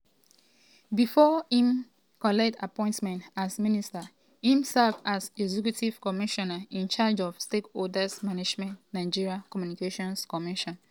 before im collect appointment as minister im serve as executive commissioner in charge of stakeholders management nigeria communications commission (ncc).